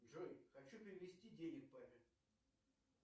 джой хочу перевести денег папе